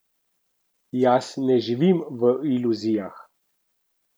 Jaz ne živim v iluzijah.